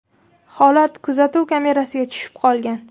Holat kuzatuv kamerasiga tushib qolgan.